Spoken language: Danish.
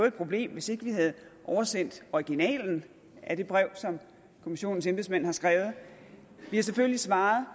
et problem hvis ikke vi havde oversendt originalen af det brev som kommissionens embedsmænd har skrevet vi har selvfølgelig svaret